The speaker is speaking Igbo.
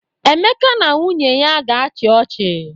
Emeka na nwunye ya ga-achị ọchị